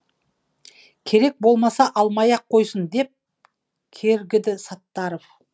керек болмаса алмай ақ қойсын деп кергіді саттаров